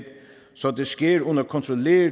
så det sker under kontrollerede